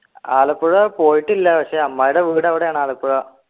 ആലപ്പുഴ പോയിട്ടില്ല പക്ഷേ അമ്മായിടെ വീട് അവിടെയാണ് ആലപ്പുഴ